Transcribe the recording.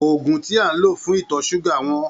Òògun tí à ń lò fún ìtọ ṣúgà wọ́n.